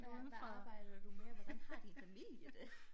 Hvad hvad arbejder du med hvordan har din familie det